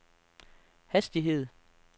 hastighed